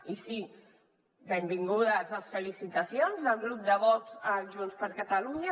i sí benvingudes les felicitacions del grup de vox a junts per catalunya